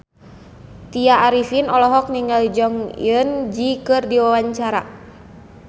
Tya Arifin olohok ningali Jong Eun Ji keur diwawancara